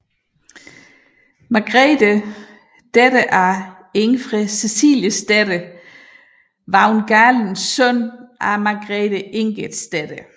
Margrethe datter af Ingfred Ceciliesdatter Vagn Galen søn af Margrethe Ingerdsdatter